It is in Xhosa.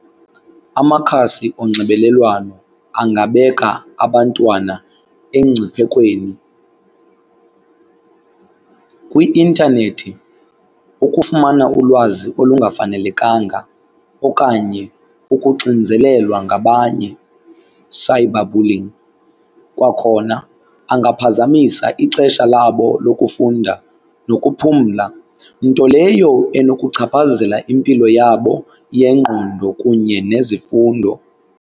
Amakhasi onxibelelwano angabeka abantwana engciphekweni kwi-intanethi, ukufumana ulwazi olungafanelekanga okanye ukuxinzelelwa ngabanye, cyber bullying. Kwakhona angaphazamisa ixesha labo lokufunda nokuphumla nto leyo enokuchaphazela impilo yabo yengqondo kunye nezifundo.